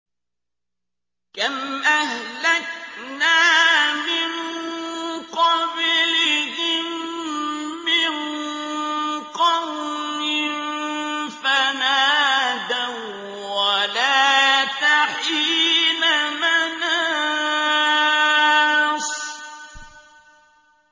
كَمْ أَهْلَكْنَا مِن قَبْلِهِم مِّن قَرْنٍ فَنَادَوا وَّلَاتَ حِينَ مَنَاصٍ